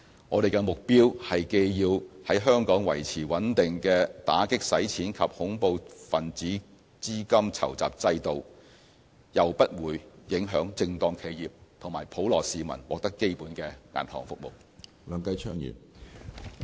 我們的目標是既要在香港維持穩定的打擊洗錢及恐怖分子資金籌集制度，又不會影響正當企業及普羅市民獲得基本銀行服務。